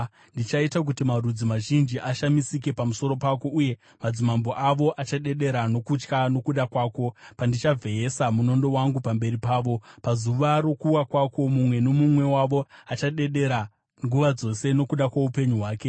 Ndichaita kuti marudzi mazhinji ashamisike pamusoro pako, uye madzimambo avo achadedera nokutya nokuda kwako, pandichavheyesa munondo wangu pamberi pavo. Pazuva rokuwa kwako mumwe nomumwe wavo achadedera nguva dzose, nokuda kwoupenyu hwake.